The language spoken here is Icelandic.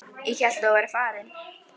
Ég hélt að þú værir farin.